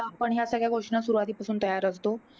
तर आपण ह्या सगळ्या गोष्टींना सुरुवातीपासून तयार असतो.